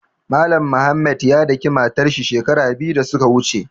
Mallam Mohammed ya daƙi matar shi shekaru biyu da su ka wuche.